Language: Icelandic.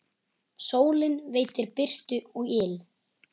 Sólin veitir birtu og yl.